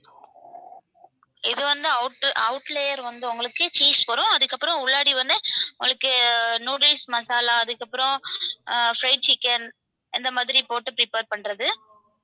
இது வந்து out out layer வந்து உங்களுக்கு cheese வரும் அதுக்கப்புறம் உள்ளாடி வந்து உங்களுக்கு noodles masala அதுக்கப்புறம் அஹ் fried chicken இந்த மாதிரி போட்டு prepare பண்றது.